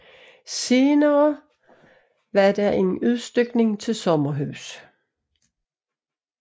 Senere skete en udstykning til sommerhuse